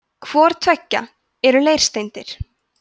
hvort tveggja eru leirsteindir